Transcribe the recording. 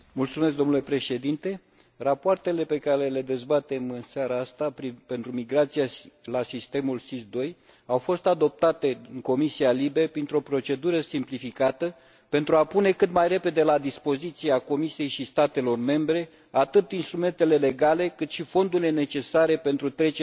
Rapoartele pe care le dezbatem în seara aceasta pentru migrația la sistemul SIS II au fost adoptate în Comisia LIBE printr o procedură simplificată, pentru a pune cât mai repede la dispoziția Comisiei și a statelor membre atât instrumentele legale, cât și fondurile necesare pentru trecerea la noua generație SIS.